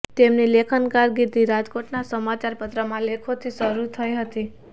તેમની લેખન કારકિર્દી રાજકોટના સમાચાર પત્રમાં લેખોથી શરૂ થઇ હતી